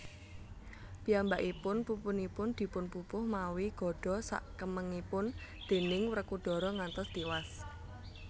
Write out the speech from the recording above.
Piyambakipun pupunipun dipunpupuh mawi gadha sakemengipun déning Wrekodara ngantos tiwas